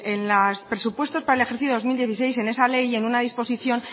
en los presupuestos para el ejercicio dos mil dieciséis en esa ley en una disposición